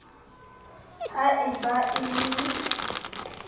ha e ba e le